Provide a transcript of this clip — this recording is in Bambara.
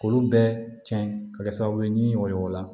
K'olu bɛɛ cɛn ka kɛ sababu ye ni o y'o la